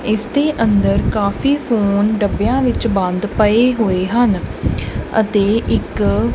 ਇਸ ਦੇ ਅੰਦਰ ਕਾਫੀ ਫੋਨ ਡੱਬਿਆਂ ਵਿੱਚ ਬੰਦ ਪਏ ਹੋਏ ਹਨ ਅਤੇ ਇੱਕ।